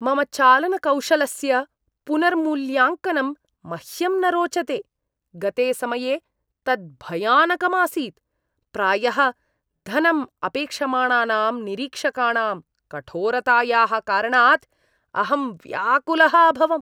मम चालनकौशलस्य पुनर्मूल्याङ्कनं मह्यं न रोचते। गते समये तत् भयानकं आसीत्। प्रायः धनम् अपेक्षमाणानां निरीक्षकाणां कठोरतायाः कारणात् अहं व्याकुलः अभवम्।